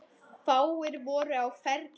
Fáir voru á ferli.